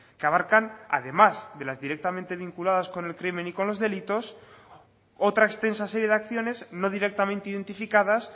que abarcan además de las directamente vinculadas con el crimen y con los delitos otra extensa serie de acciones no directamente identificadas